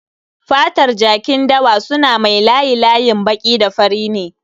Fatar jakin dawa suna mai layi-layin baƙi da fari ne